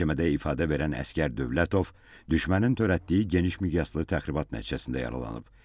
Məhkəmədə ifadə verən əsgər Dövlətov düşmənin törətdiyi genişmiqyaslı təxribat nəticəsində yaralanıb.